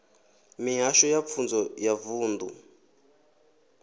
mihasho ya pfunzo ya vunḓu